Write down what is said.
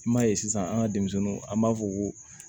I m'a ye sisan an ka denmisɛnninw an b'a fɔ ko